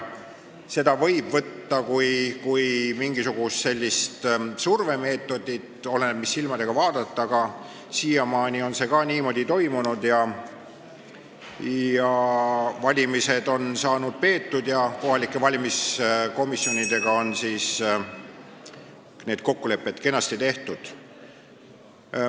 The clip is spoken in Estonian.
Seda võib võtta kui mingisugust survemeetodit – oleneb, mis silmadega vaadata –, aga ka siiamaani on see niimoodi toimunud, valimised on saanud peetud ja kohalike valimiskomisjonidega on need kokkulepped kenasti tehtud.